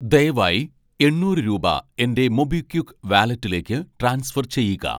ദയവായി എണ്ണൂറ് രൂപ എൻ്റെ മൊബിക്വിക്ക് വാലറ്റിലേക്ക് ട്രാൻസ്ഫർ ചെയ്യുക